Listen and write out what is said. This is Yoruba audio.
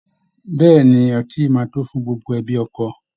Bẹ́ẹ̀ ni, ọtí yìí máa tó fún gbogbo ẹbi ọkọ